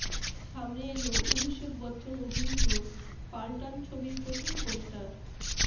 সামনে এল অভিষেক বচ্চন অভিনীত পালটান ছবির প্রথম পোস্টার